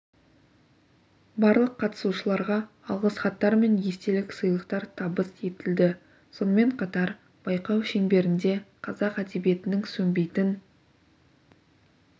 барлық қатысушыларға алғыс хаттар мен естелік сыйлықтар табыс етілді сонымен қатар байқау шеңберінде қазақ әдебиетінің сөнбейтін